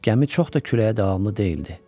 Gəmi çox da küləyə davamlı deyildi.